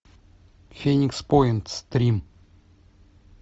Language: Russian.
феникс поинт стрим